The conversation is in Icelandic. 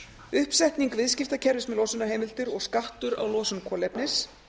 uppsetning viðskiptakerfis með losunarheimildir og skattur á losun kolefnis